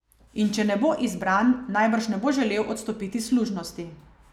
In če ne bo izbran, najbrž ne bo želel odstopiti služnosti.